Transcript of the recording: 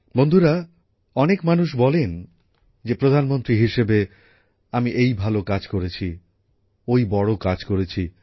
বন্ধুরা অনেক মানুষ বলেন যে প্রধানমন্ত্রী হিসাবে আমি এই ভালো কাজ করেছি ওই বড় কাজ করেছি